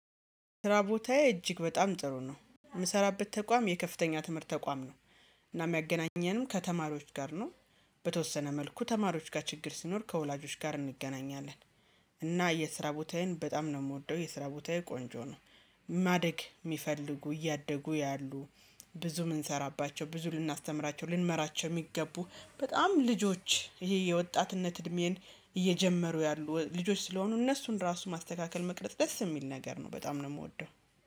ስራ ቦታዬ እጅግ በጣም ጥሩ ነው የምሰራበት ተቋም የከፍተኛ ትምህርት ተቋም ነው። እና የሚያገናኘንም ከተማሪዎች ጋር ነው። በተወሰነ መልኩ ተማሪዎች ጋር ችግር ሲኖር ከወላጆች ጋር እንገናኛለን። እና የስራ ቦታዬን በጣም ነው የምወደው የስራ ቦታዬ ቆንጆ ነው። ማደግ የሚፈልጉ እያደጉ ያሉ ብዙ የምንሰራባቸው ብዙ ልናስተምራቸው ልንመራቸው የሚገቡ በጣም ልጆች ይሄ የወጣትነት እድሜን እየጀመሩ ያሉ ልጆች ስለሆኑ እነሱን ራሱ ማስተካከል መቅረጽ ደስ የሚል ነገር ነው በጣም ነው የምወደው